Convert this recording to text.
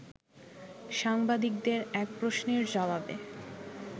সাংবাদিকদের এক প্রশ্নের জবাবে